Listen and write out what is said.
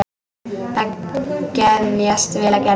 Þeim geðjast vel að Gerði.